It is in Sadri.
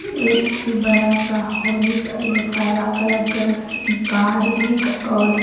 एक ठी बड़ा सा हॉल हिक और एगो काला कलर कर कार हिक और--